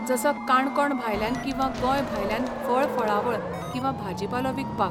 जसो काणकोण भायल्यान किंवा गोंय भायल्यान फळ फळावळ किंवा भाजीपालो विकपाक